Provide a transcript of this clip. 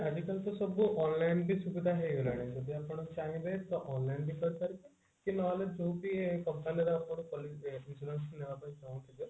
ଆଜିକାଲି ତ ସବୁ online ବି ସୁବିଧା ହେଇଗଲାଣି ଯଦି ଆପଣ ଚାହିଁବେ ତ online ବି କରିପାରିବେ କି ନହେଲେ ଯୋଉ ବି company ର ଆପଣ policy ଏ insurance ନେବା ପାଇଁ ଚାହୁଁଥିବେ